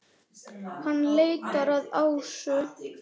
Hann leitar að Ásu.